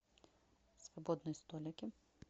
свободные столики